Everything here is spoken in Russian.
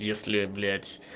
если блять